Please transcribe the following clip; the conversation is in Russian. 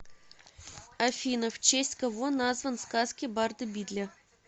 афина в честь кого назван сказки барда бидля